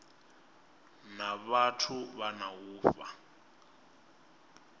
na vhathu na u fha